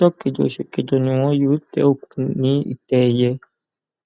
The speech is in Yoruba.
ọjọ kẹjọ oṣù kẹjọ ni wọn yóò tẹ òkú ní ìtẹ ẹyẹ